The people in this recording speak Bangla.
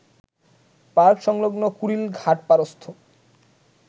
পার্ক সংলগ্ন কুড়িল ঘাটপাড়স্থ